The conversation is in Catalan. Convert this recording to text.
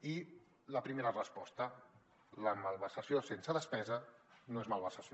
i la primera resposta la malversació sense despesa no és malversació